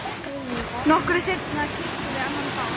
Nokkru seinna keyptum við annan bát.